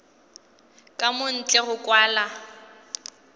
ka mo ntle go kwala